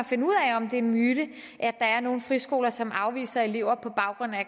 finde ud af om det er en myte at der er nogle friskoler som afviser elever på baggrund af